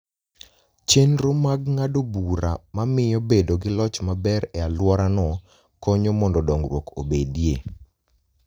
Chenro mag ng'ado bura ma miyo bedo gi loch maber e alworano konyo mondo dongruok obedie.